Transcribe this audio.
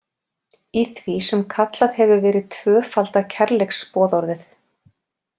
Í því sem kallað hefur verið tvöfalda kærleiksboðorðið.